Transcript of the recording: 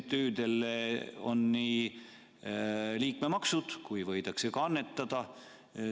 Sest MTÜ-del on nii liikmemaksud kui ka annetuste raha.